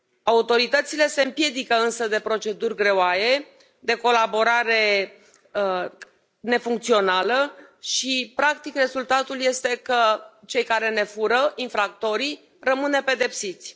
Autoritățile se împiedică însă de proceduri greoaie, de colaborare nefuncțională și, practic, rezultatul este că cei care ne fură, infractorii, rămân nepedepsiți.